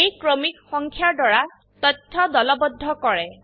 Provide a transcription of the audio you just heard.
এই ক্ৰমিক সংখ্যা দ্বাৰা তথ্য দলবদ্ধ কৰে